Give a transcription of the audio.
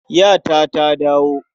Yata ta dawo.